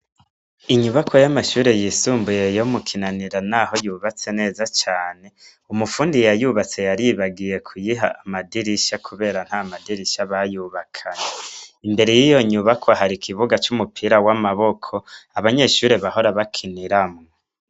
Inyubakwa y'amashure yisumbuye yo mu kinanira naho yubatse neza cane umufundi yayubatse yaribagiye kuyiha amadirisha kubera nta madirisha bayubakanye, imbere yiyo nyubakwa har'ikibuga c'umupira w'amaboko abanyeshure bahora bakiniramwo.